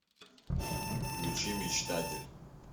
включи мечтатель